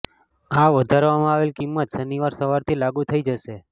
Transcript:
આ વધારવામાં આવેલ કિંમત શનિવાર સવારથી લાગૂ થઇ જશે